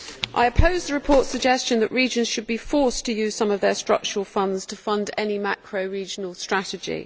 I oppose the report's suggestion that regions should be forced to use some of their structural funds to fund any macro regional strategy.